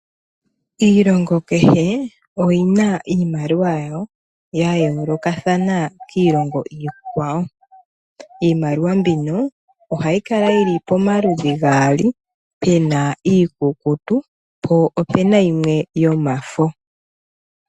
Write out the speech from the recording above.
Iilongo kehe oyina iimaliwa yawo yayoolokathana kiilongo iikwawo. Iimaliwa mbika ohayi kala yili pomaludhi gaali pena mbiikukutu po opena mbi yomafo.